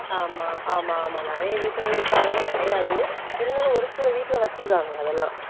ஆமா ஆமா ஆமா நிறைய வீட்டுகல்ல இப்ப அதெல்லாம் கிடையாது இருந்தாலும் ஒரு சில வீட்டுல வச்சிருக்காங்க அதெல்லாம்